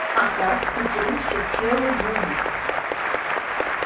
а так к утру все целы будут